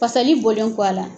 Fasali bɔlen kɔ a la.